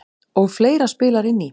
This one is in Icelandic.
Og fleira spilar inn í.